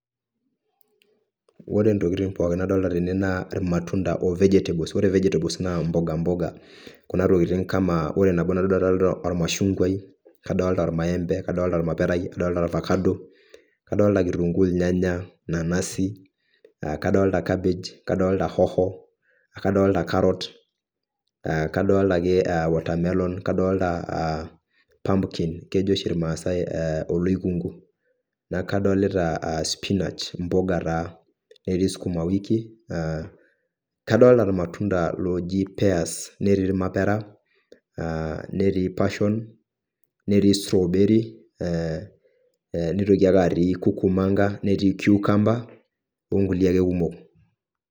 Ore ntokitin pookin nadolita tene naa, ilmatunda ooh vegetables, ore vegetables naa mboga mboga kuna ntokitin kama ore nabo natoduaa tene naa ormaashungwai, adolita irmaembe, kadolita ormaperai, kadolita orvakado, kadolita kitunguu, ornyanyai, nanasu kadolita cabbage kadolita hoho kadolita karot, eeh kadolita ake watermelon kadolita aa < pumpkin, kejo oshi irmaasaai oloikungu, kadolita spinach aa mpuka taa, etii skuma wiki aa kadolita ilmatunda looji peas, netii ormapera, netii passion netii strawberry, netii kukumanga netii kiukamba, ongulie ake kumok.